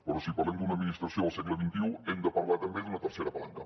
però si parlem d’una administració del segle xxi hem de parlar també d’una tercera palanca